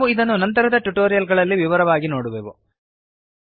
ನಾವು ಇದನ್ನು ನಂತರದ ಟ್ಯುಟೋರಿಯಲ್ ಗಳಲ್ಲಿ ವಿವರವಾಗಿ ನೋಡುವೆವು